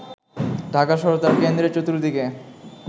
ঢাকা শহর তার কেন্দ্রের চতুর্দিকে